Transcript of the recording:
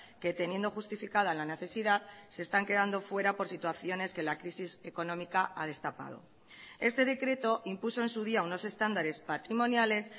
que teniendo justificada la necesidad se están quedando fuera por situaciones que la crisis económica ha destapado este decreto impuso en su día unos estándares patrimoniales